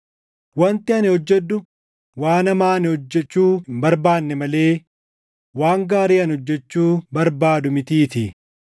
Wanti ani hojjedhu waan hamaa ani hojjechuu hin barbaanne malee waan gaarii ani hojjechuu barbaadu mitiitii.